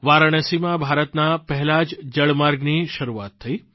વારાણસીમાં ભારતના પહેલા જળમાર્ગની શરૂઆત થઇ